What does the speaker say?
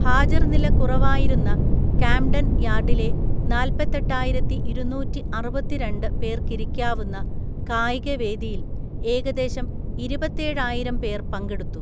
ഹാജര്‍നില കുറവായിരുന്ന കാംഡൻ യാർഡിലെ നാല്പ്പത്തെട്ടായിരത്തിഇരുനൂറ്റിഅറുപത്തിരണ്ട് പേര്‍ക്കിരിക്കാവുന്ന കായികവേദിയില്‍ ഏകദേശം ഇരുപത്തേഴായിരം പേർ പങ്കെടുത്തു.